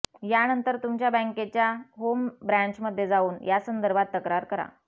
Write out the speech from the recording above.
यानंतर तुमच्या बँकेच्या होम ब्रँचमध्ये जाऊन यासंदर्भात तक्रार करा